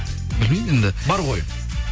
білмеймін енді бар ғой